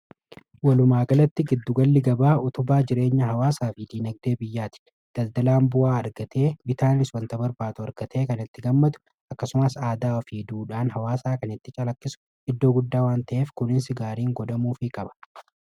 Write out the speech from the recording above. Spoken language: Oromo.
Walumaagalatti giddugalli gabaa utubaa jireenya hawaasaa fi dinagdee biyyaati. daldalaan bu'aa argatee bitaaniis wanta barbaadu argatee kan itti gammadu. Akkasumas aadaaa fi duudhaan hawaasaa kan itti calaqqisu iddoo guddaa waan ta'eef kunis gaariin godhamuuf qaba.